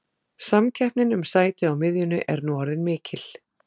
Samkeppnin um sæti á miðjunni er nú orðin mikil.